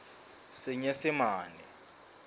senyesemane